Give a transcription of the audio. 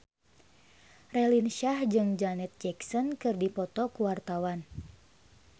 Raline Shah jeung Janet Jackson keur dipoto ku wartawan